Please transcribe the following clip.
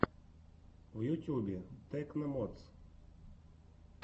в ютюбе тэкно модс